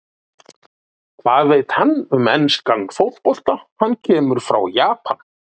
Hvað veit hann um enskan fótbolta, hann kemur frá Japan?